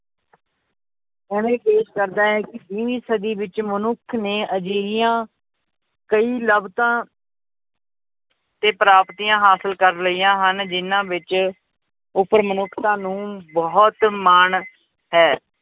ਇਵੇਂ ਪੇਸ਼ ਕਰਦਾ ਹੈ ਕਿ ਵੀਹਵੀ ਸਦੀ ਵਿੱਚ ਮਨੁੱਖ ਨੇ ਅਜਿਹੀਆਂ ਕਈ ਲਬਤਾਂ ਤੇ ਪ੍ਰਾਪਤੀਆਂ ਹਾਸਿਲ ਕਰ ਲਈਆਂ ਹਨ, ਜਿਹਨਾਂ ਵਿੱਚ ਉੱਪਰ ਮਨੁੱਖਤਾ ਨੂੰ ਬਹੁਤ ਮਾਣ ਹੈ।